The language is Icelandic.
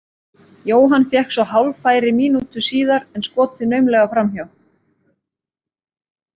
Jóhann fékk svo hálffæri mínútu síðar en skotið naumlega framhjá.